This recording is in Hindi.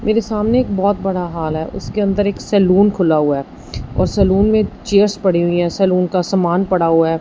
मेरे सामने एक बहोत बड़ा हाल है उसके अंदर एक सैलून खुला हुआ है और सैलून में चेयर्स पड़ी हुई और सैलून का समान पड़ा हुआ है।